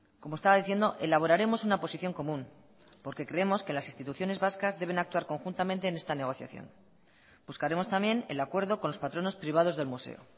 como estaba diciendo elaboraremos una posición común porque creemos que las instituciones vascas deben actuar conjuntamente en esta negociación buscaremos también el acuerdo con los patronos privados del museo